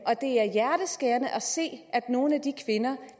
hjerteskærende at se at nogle af de kvinder